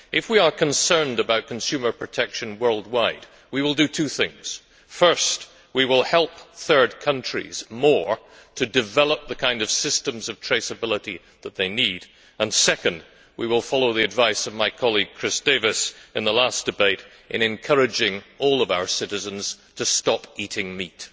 If we are concerned about consumer protection worldwide, we will do two things. First, we will help third countries more to develop the kinds of systems of traceability that they need, and second, we will follow the advice of my colleague Chris Davies in the last debate in encouraging all of our citizens to stop eating meat.